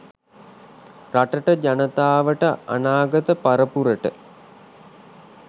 රටට ජනතාවට අනාගත පරපුරට